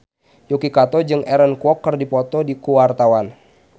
Yuki Kato jeung Aaron Kwok keur dipoto ku wartawan